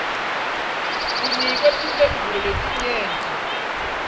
kunikwe timphendvulo letinyenti